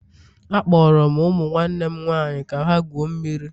Akpọrọ m ụmụ nwanne m nwaanyị ka ha gwuo mmiri